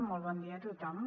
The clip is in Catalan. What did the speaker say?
molt bon dia a tothom